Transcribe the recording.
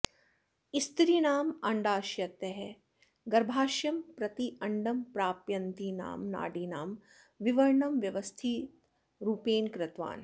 स्त्रीणाम् अण्डाशयतः गर्भाशयं प्रति अण्डं प्रापयन्तीनां नाडीनां विवरणं व्यवस्थितरूपेण कृतवान्